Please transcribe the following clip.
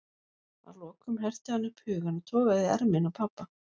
Að lokum herti hann upp hugann og togaði í ermina á pabba.